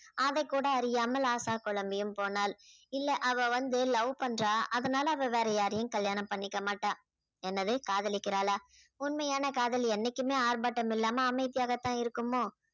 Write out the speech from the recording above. அதைக்கூட அறியாமல் ஆஷா குழம்பியும் போனாள் இல்ல அவ வந்து love பண்றா அதனால அவ வேற யாரையும் கல்யாணம் பண்ணிக்க மாட்டா என்னது காதலிக்கிறாளா உண்மையான காதல் என்னைக்குமே ஆர்ப்பாட்டம் இல்லாம அமைதியாகத்தான் இருக்குமோ